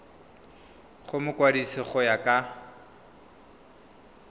go mokwadise go ya ka